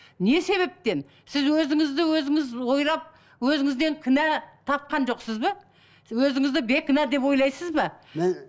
не себептен сіз өзіңізді өзіңіз ойлап өзіңізден кінә тапқан жоқсыз ба өзіңізді бейкүнә деп ойлайсыз ба